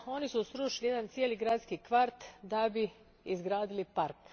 Oni su srušili jedan cijeli gradski kvart da bi izgradili park.